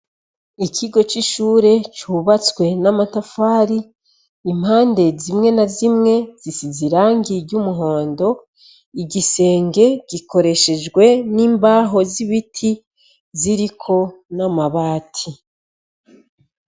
N'ikigo c'ishure cubatswe n'amatafari, impande zimwe na zimwe zisize irangi ry'umuhondo, igisenge gikoreshejwe n'imbaho z'ibiti, ziriko n'amabati .